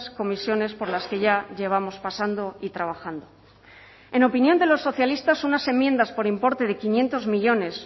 comisiones por las que ya llevamos pasando y trabajando en opinión de los socialistas unas enmiendas por importe de quinientos millónes